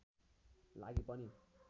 लागि पनि